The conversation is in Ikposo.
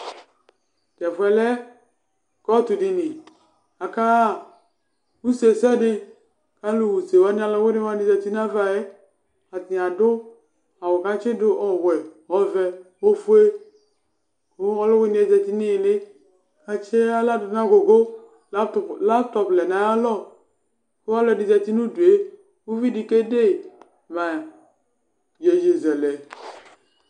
Tɛfʋɛ lɛ kɔtʋ ɖini, aka ɣa use sɛdɩAlʋ ɣa use wanɩ alʋwɩnɩ wanɩ zati n'alɔɛ:Atanɩ aɖʋ awʋ ƙʋ atsɩɖʋ, ɔwɛ, ɔvɛ, ofue, ƙʋ ɔlʋwɩnɩ ƴɛ zati nʋ ɩhɩlɩ l' atsɩ aɣla n'agʋgʋ, laptɔp lɛ naƴalɔƘʋ ɔlɔɖɩ zati nʋ udue, uvi ɖɩ ƙede ma iƴeƴezɛlɛ